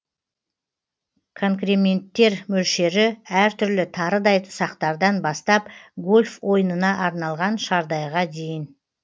конкременттер мөлшері әртүрлі тарыдай ұсақтардан бастап гольф ойынына арналған шардайға дейін